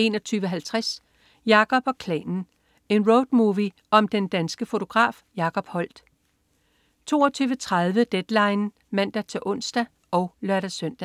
21.50 Jacob og Klanen. En roadmovie om den danske fotograf Jacob Holdt 22.30 Deadline (man-ons og lør-søn)